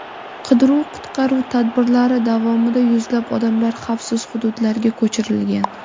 Qidiruv-qutqaruv tadbirlari davomida yuzlab odamlar xavfsiz hududlarga ko‘chirilgan.